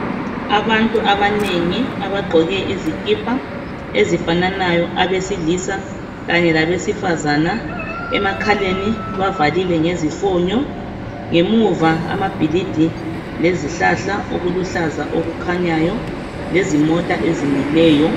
Abantu abanengi abagqoke izikipa ezifananayo abesilisa kanye labesifazana emakhaleni bavalile ngezifonyo. Ngemuva amabhilidi lezihlahla okuluhlaza okukhanyayo lezimota ezimileyo.